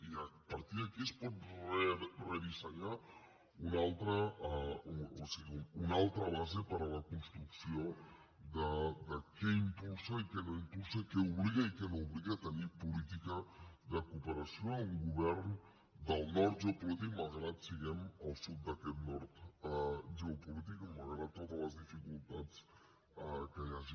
i a partir d’aquí es pot redissenyar una altra base per a la construcció de què impulsa i què no impulsa a què obliga i a què no obliga tenir política de cooperació en un govern del nord geopolític malgrat que siguem el sud d’aquest nord geo polític i malgrat totes les dificultats que hi hagi